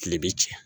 Tile bi cɛ